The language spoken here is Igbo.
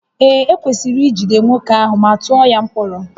Ee, ekwesịrị ijide nwoke ahụ ma tụọ ya mkpọrọ